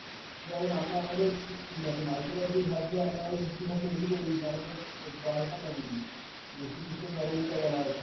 যেমন আমরা আমাদের mythology ঘাটলে আমরা আমাদের history ঘাটলে দেখি যে ওই আমাদের দ্বারকা নগরী যে শ্রীকৃষ্ণের নগরী এটা বলা হয়